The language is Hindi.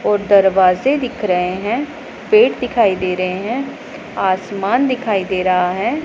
और दरवाजे दिख रहे हैं पेड़ दिखाई दे रहे हैं आसमान दिखाई दे रहा है।